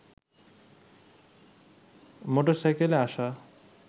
motor সাইকেলে আসা